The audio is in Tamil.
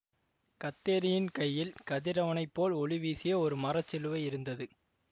கத்தேரியின் கையில் கதிரவனைப் போல் ஒளிவீசிய ஒரு மர சிலுவை இருந்தது